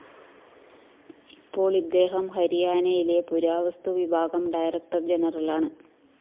ഇപ്പോള്‍ ഇദ്ദേഹം ഹരിയാനയിലെ പുരാവസ്തു വിഭാഗം ഡയറക്ടർ ജനറലാണ്